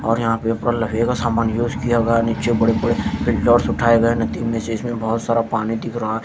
और यहां पेपर सामान यूज किया गया नीचे बड़े बड़े इसमें बहोत सारा पानी दिख रहा--